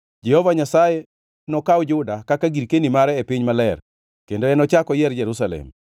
Jehova Nyasaye nokaw Juda kaka girkeni mare e piny maler, kendo enochak oyier Jerusalem.